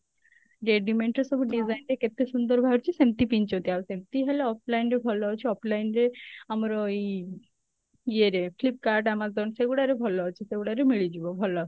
readymade ର ସବୁ design ବି କେତେ ସୁନ୍ଦର ବାହାରୁଛି ସେମତି ପିନ୍ଧୁଛନ୍ତି ଆଉ ସେମତି ହେଲେ offline ରେ ଭଲ ଅଛି offline ରେ ଆମର ଏଇ ଇଏ ରେ flipkart amazon ସେଇଗୁଡା ରେ ଭଲ ଅଛି ସେଇଗୁଡା ରେ ମିଳିଯିବ ଭଲ